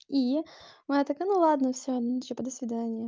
и мы а так а ну ладно ну типа до свидания